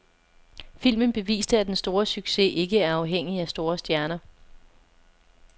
Filmen beviste, at den store succes, ikke er afhængig af store stjerner.